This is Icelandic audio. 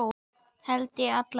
Held ég alla vega.